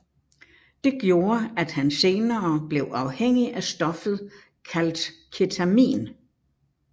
Det gjorde at han senere blev afhængig af stoffet kaldt Ketamin